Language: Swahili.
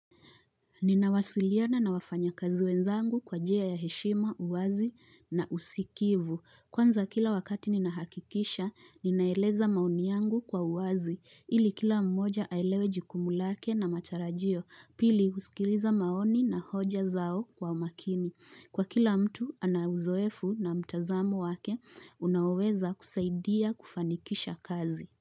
Nina wasiliana na wafanya kazi wenzangu kwa jia ya heshima, uwazi na usikivu. Kwanza kila wakati ninahakikisha, ninaeleza maoni yangu kwa uwazi, ili kila mmoja ailewe jukumulake na matarajio, pili usikiliza maoni na hoja zao kwa makini. Kwa kila mtu anauzoefu na mtazamu wake, unaweza kusaidia kufanikisha kazi.